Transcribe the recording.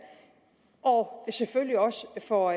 og selvfølgelig også for